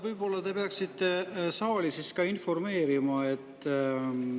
Võib-olla te peaksite siis ka saali informeerima.